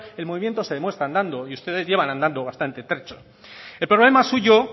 el movimiento se demuestra andando y ustedes llevan andando bastante trecho el problema suyo